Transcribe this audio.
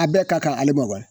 A bɛɛ ka kan ale ma